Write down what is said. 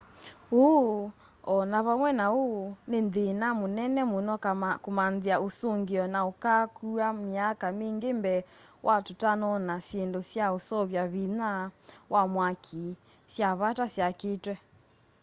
ũũ o na vamwe na ũu nĩ thĩna mũnene mũno kũmanthĩa ũsũngĩo na ũkaakua myaka mingĩ mbee wa tũtanona syĩndũ sya ũseuvya vinya wa mwaki sya vata syakĩtwe